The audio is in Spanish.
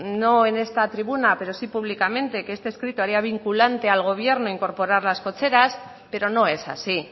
no en esta tribuna pero sí públicamente que este escrito haría vinculante al gobierno incorporar las cocheras pero no es así